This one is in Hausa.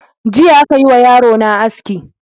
Jiya aka yi wa yarona aski.